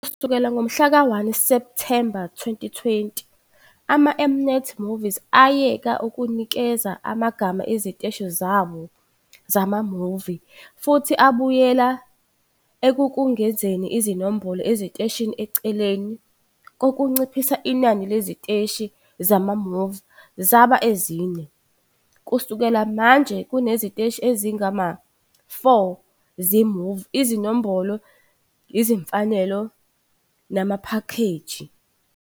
Kusukela ngomhlaka-1 Septhemba 2020, ama-M-Net Movies ayeka ukunikeza amagama eziteshi zawo zama-movie futhi abuyela ekungezeni izinombolo eziteshini eceleni kokunciphisa inani leziteshi zama-movie zaba ezine. Kusukela manje, kuneziteshi ezingama-4 ze-Movie, izinombolo, izimfanelo namaphakheji.